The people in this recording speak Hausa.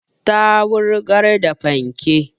Ta wurgar da fanke